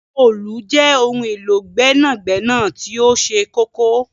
Òòlù jẹ ohun élo gbẹnagbẹna ti oṣẹ kọkọ.